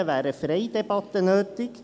Deshalb wäre eine freie Debatte notwendig.